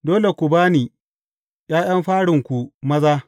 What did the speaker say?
Dole ku ba ni ’ya’yan farinku maza.